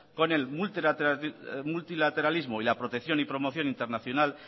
con el multilateralismo y la protección y promoción internacional